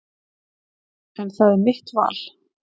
En það er mitt val.